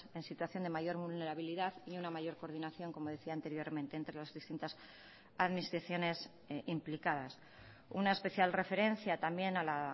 en situación de mayor vulnerabilidad y una mayor coordinación como decía anteriormente entre las distintas administraciones implicadas una especial referencia también a la